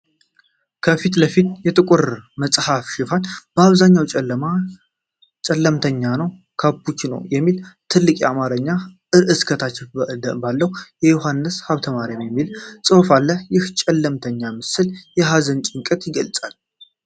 ከፊት ለፊት የጥቁር መጽሐፍ ሽፋን አብዛኛው ክፍል ጨለምተኛ ነው። " ካፑችኖ " የሚል ትልቅ የአማርኛ ርዕስ ከታች ባለው "በ ዮሃንስ ሐብተማርይም" የሚል ጽሑፍ አለ። ይህ ጨለምተኛ ምስል ሀዘንንና ጭንቀትን ይገልፃል።